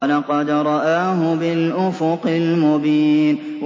وَلَقَدْ رَآهُ بِالْأُفُقِ الْمُبِينِ